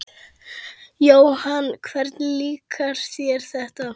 Jóhanna: Hvernig líkar þér þetta?